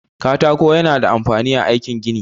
Katako ya na da amfani a aikin gini.